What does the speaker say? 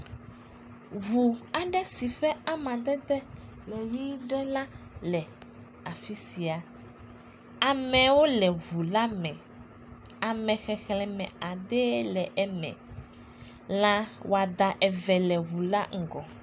Ŋu aɖe si ƒe amadede le ʋi ɖe la le afi sia, amewo le ŋu la me, ame xexlẽm adee le eme, lãwɔada eve le ŋu la ŋgɔ.